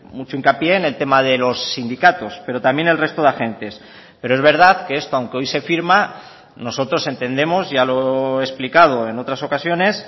mucho hincapié en el tema de los sindicatos pero también el resto de agentes pero es verdad que esto aunque hoy se firma nosotros entendemos ya lo he explicado en otras ocasiones